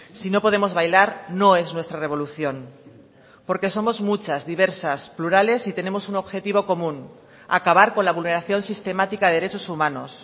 si no podemos bailar no es nuestra revolución porque somos muchas diversas plurales y tenemos un objetivo común acabar con la vulneración sistemática de derechos humanos